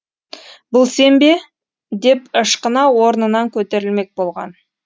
бұл сен бе деп ышқына орнынан көтерілмек болған